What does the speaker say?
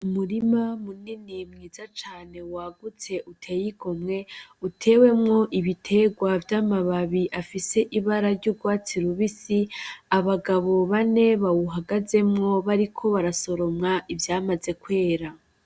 Umurima munini mwiza cane wagutse utey'igomwe utewemwo ibiterwa vy'amababi afis'ibara ry'urwatsi rubisi, abagabo bande bawugazemwo bariko barasoroma ivyamaze kwera.